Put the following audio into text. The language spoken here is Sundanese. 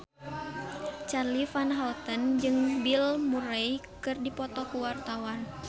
Charly Van Houten jeung Bill Murray keur dipoto ku wartawan